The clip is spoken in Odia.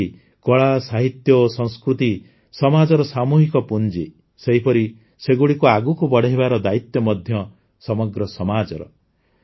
ଯେପରିକି କଳା ସାହିତ୍ୟ ଓ ସଂସ୍କୃତି ସମାଜର ସାମୂହିକ ପୁଞ୍ଜି ସେହିପରି ସେଗୁଡ଼ିକୁ ଆଗକୁ ବଢ଼ାଇବାର ଦାୟିତ୍ୱ ମଧ୍ୟ ସମଗ୍ର ସମାଜର